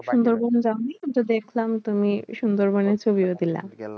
সুন্দরবন যাওনি? আমিতো দেখলাম সুন্দরবনে তুমি সুন্দরবনের ছবিও দিলা।